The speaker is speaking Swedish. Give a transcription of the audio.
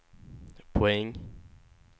poäng